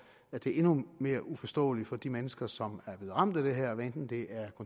at det er endnu mere uforståeligt for de mennesker som er blevet ramt af det her hvad enten det er